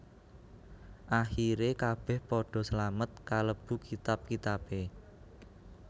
Akhire kabeh padha slamet kalebu kitab kitabe